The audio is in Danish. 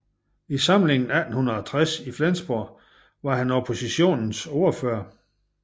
I samlingen 1860 i Flensborg var han oppositionens ordfører